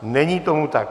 Není tomu tak.